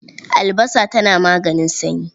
Albasa tana maganin sanyi.